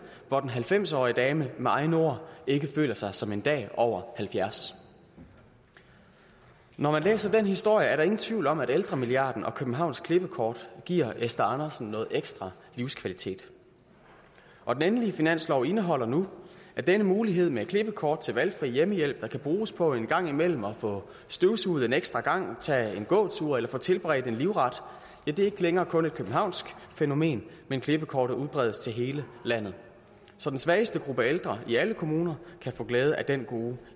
hvor den halvfems årige dame med egne ord ikke føler sig som en dag over halvfjerds når man læser den historie er der ingen tvivl om at ældremilliarden og københavns klippekort giver esther andersen noget ekstra livskvalitet og den endelige finanslov indeholder nu at denne mulighed med klippekort til valgfri hjemmehjælp der kan bruges på en gang imellem at få støvsuget en ekstra gang tage en gåtur eller få tilberedt en livret ikke længere kun er et københavnsk fænomen men klippekortet udbredes til hele landet så den svageste gruppe ældre i alle kommuner kan få glæde af den gode